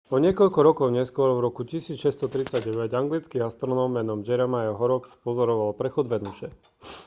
o niekoľko rokov neskôr v roku 1639 anglický astronóm menom jeremiah horrocks spozoroval prechod venuše